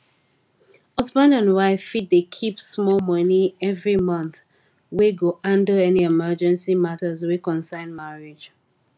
husband and wife fit dey keep small money every month wey go handle any emergency matters wey concern marriage